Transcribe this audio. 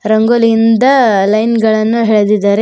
ರಂಗೋಲಿಯಿಂದ line ಗಳನ್ನ ಎಳೆದಿದ್ದಾರೆ ಮತ್--